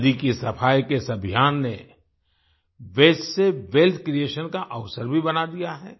नदी की सफाई के इस अभियान ने वास्ते से वेल्थ क्रिएशन का अवसर भी बना दिया है